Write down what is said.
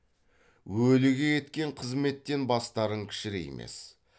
өліге еткен қызметтен бастарың кішіреймес